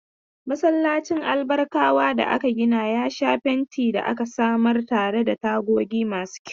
Masallacin Albarkawa da aka gina ya sha fenti da aka samar tare da tagogi masu kyau.